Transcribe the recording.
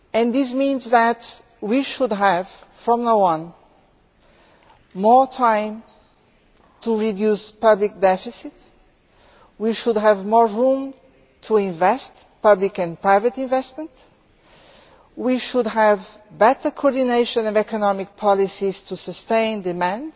This means that we should have, from now on, more time to reduce public deficits we should have more room to make public and private investments we should have better coordination of economic policies to sustain demand,